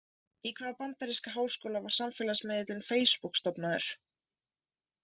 Í hvaða bandaríska háskóla var samfélagsmiðillinn Facebook stofnaður?